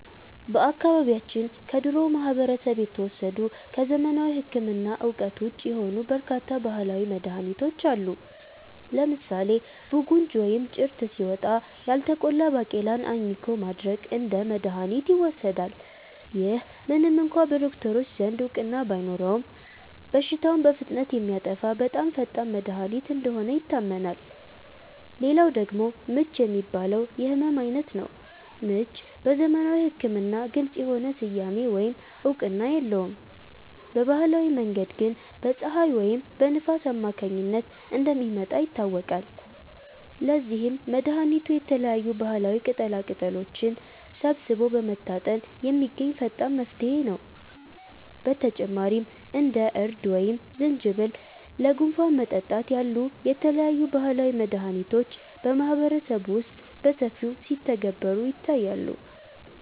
በአካባቢያችን ከድሮው ማህበረሰብ የተወሰዱ፣ ከዘመናዊ ሕክምና እውቀት ውጪ የሆኑ በርካታ ባህላዊ መድኃኒቶች አሉ። ለምሳሌ 'ቡንጅ' (ወይም ጭርት) ሲወጣ፣ ያልተቆላ ባቄላን አኝኮ ማድረቅ እንደ መድኃኒት ይወሰዳል። ይህ ምንም እንኳ በዶክተሮች ዘንድ እውቅና ባይኖረውም፣ በሽታውን በፍጥነት የሚያጠፋ በጣም ፈጣን መድኃኒት እንደሆነ ይታመናል። ሌላው ደግሞ 'ምች' የሚባለው የሕመም ዓይነት ነው። ምች በዘመናዊ ሕክምና ግልጽ የሆነ ስያሜ ወይም እውቅና የለውም፤ በባህላዊ መንገድ ግን በፀሐይ ወይም በንፋስ አማካኝነት እንደሚመጣ ይታወቃል። ለዚህም መድኃኒቱ የተለያዩ ባህላዊ ቅጠላቅጠሎችን ሰብስቦ በመታጠን የሚገኝ ፈጣን መፍትሄ ነው። በተጨማሪም እንደ እርድ ወይም ዝንጅብል ለጉንፋን መጠጣት ያሉ የተለያዩ ባህላዊ መድኃኒቶች በማህበረሰቡ ውስጥ በሰፊው ሲተገበሩ ይታያሉ